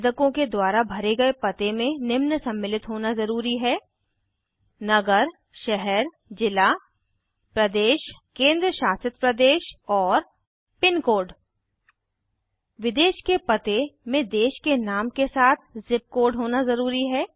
आवेदकों के द्वारा भरे गए पते में निम्न सम्मिलित होना ज़रूरी है नगरशहरजिला प्रदेशकेंद्रशासितप्रदेश और पिनकोड विदेश के पते में देश के नाम के साथ ज़िप कोड होना ज़रूरी है